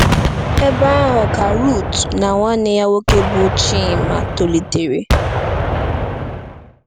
N'ebe ahụ ka Rut na nwanne ya nwoke, bụ Chima, tolitere.